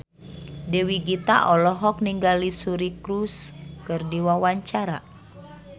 Dewi Gita olohok ningali Suri Cruise keur diwawancara